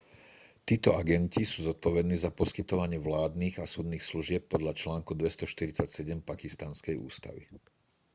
títo agenti sú zodpovední za poskytovanie vládnych a súdnych služieb podľa článku 247 pakistanskej ústavy